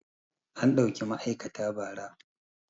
An ɗauki ma'aikata ba ra